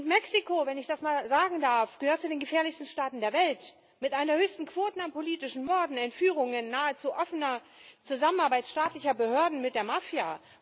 Mexiko wenn ich das mal sagen darf gehört zu den gefährlichsten Staaten der Welt mit einer der höchsten Quoten an politischen Morden, Entführungen, nahezu offener Zusammenarbeit staatlicher Behörden mit der Mafia.